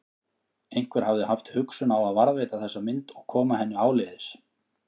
Einhver hafði haft hugsun á að varðveita þessa mynd og koma henni áleiðis.